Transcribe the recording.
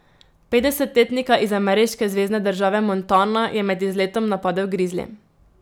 Petdesetletnika iz ameriške zvezne države Montana je med izletom napadel grizli.